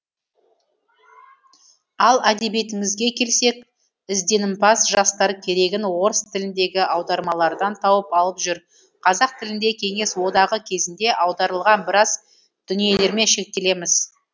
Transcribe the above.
ал әдебиетіңізге келсек ізденімпаз жастар керегін орыс тіліндегі аудармалардан тауып алып жүр қазақ тілінде кеңес одағы кезінде аударылған біраз дүниелермен шектелеміз